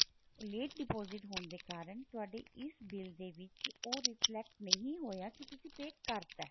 late deposit ਹੋਣ ਦੇ ਕਾਰਣ ਤੁਹਾਡੀ ਇਸ bill ਦੇ ਵਿੱਚ ਉਹ reflect ਨਹੀਂ ਹੋਇਆ ਕੀ ਤੁਸੀਂ pay ਕਰਤਾ